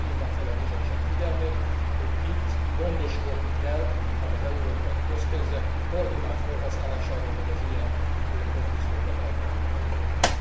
Tehát arra hívnám fel a Bizottság figyelmét, hogy itt gondoskodni kell az európai közpénzek koordinált fölhasználásáról, hogy az ilyen konfúziókat elkerüljük a jövőben.